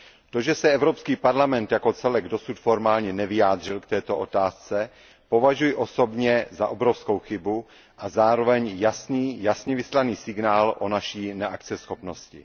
To, že se Evropský parlament jako celek dosud formálně nevyjádřil k této otázce, považuji osobně za obrovskou chybu a zároveň jasně vyslaný signál o naší neakceschopnosti.